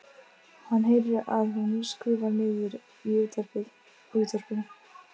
Hann heyrir að hún skrúfar niður í útvarpinu.